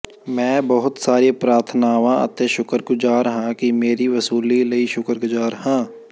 ਮੈਂ ਬਹੁਤ ਸਾਰੀਆਂ ਪ੍ਰਾਰਥਨਾਵਾਂ ਅਤੇ ਸ਼ੁਕਰਗੁਜ਼ਾਰ ਹਾਂ ਕਿ ਮੇਰੀਆਂ ਵਸੂਲੀ ਲਈ ਸ਼ੁਕਰਗੁਜ਼ਾਰ ਹਾਂ